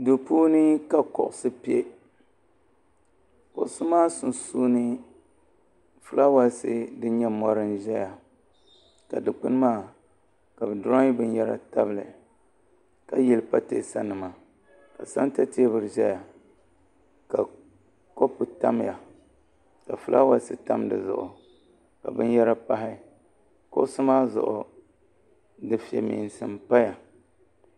Duu puuni ka kuɣusi piɛ kuɣusi maa sunsuuni filaawaasi din nyɛ mori n ʒɛya ka dikpini maa ka bɛ diroyi binyɛra tabili ka yili pateesa nima ka santa teebuli zaya ka kopu tamya ka filaawaasi tam fi zuɣu ka binyara pahi kuɣusi maa zuɣu dufemeensi m paya.